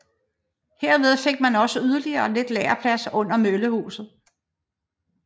Herved fik man også yderligere lidt lagerplads under møllehuset